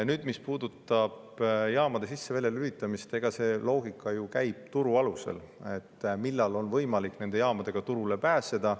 Nüüd, mis puudutab jaamade sisse-väljalülitamist, siis see loogika ju lähtub turust, sellest, millal on võimalik nende jaamadega turule pääseda.